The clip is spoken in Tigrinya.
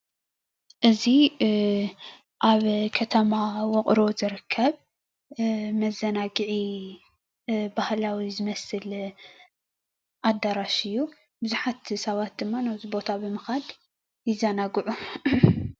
እዚ ኣብ ከተማ ውቅሮ ዝርከብ መዘናግዒ ባህላዊ ዝመስል ኣዳራሽ እዩ። ብዙሓት ሰባት ድማ ናብዚ ቦታ ብምኻድ ይዘናግዑ።